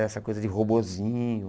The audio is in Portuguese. Essa coisa de robozinho.